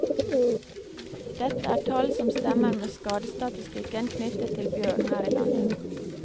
Dette er tall som stemmer med skadestatistikken knyttet til bjørn her i landet.